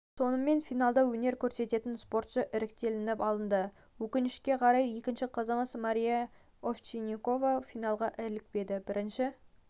сонымен финалда өнер көрсететін спортшы іріктелініп алынды өкінішке қарай екінші қызымыз мария овчинникова финалға ілікпеді бірінші